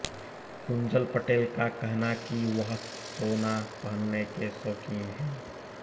कुंजल पटेल का कहना कि वह सोना पहनने के शौकीन हैं